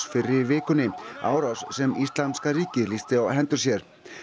fyrr í vikunni árás sem Íslamska ríkið lýsti á hendur sér